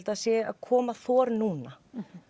það sé að koma þor núna